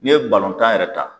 N'i ye tan yɛrɛ ta